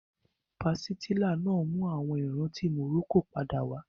Pàsìtílà náà mú àwọn ìrántí Morocco padà wá